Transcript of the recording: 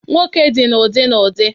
Nwoke dị na ụdị n'ụdị